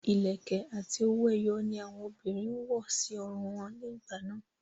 Ìlẹ̀kẹ̀ àti owó ẹyọ ni àwọn obìnrin ń wọ̀ sí irun wọn ní ìgbà náà